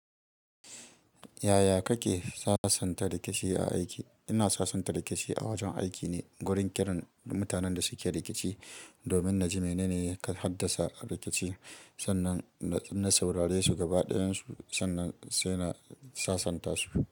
Yaya kake sassanta rikici a aiki? Ina sassanta rikici a wajen aiki ne wurin kiran mutanen da suke rikici domin naji menene ya haddasa rikici. Sannan in saurare su gaba ɗayan su, sannan sai na sassanta su.